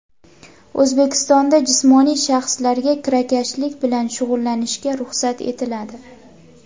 O‘zbekistonda jismoniy shaxslarga kirakashlik bilan shug‘ullanishga ruxsat etiladi.